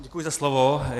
Děkuji za slovo.